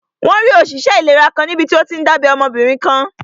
Wọ́n rí òṣìṣẹ́ ìlera kan níbití ó tíí n dábẹ́ ọmọbìnrin kan